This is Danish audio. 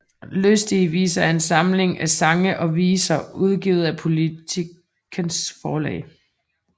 Lystige Viser er en samling af sange og viser udgivet af Politikens Forlag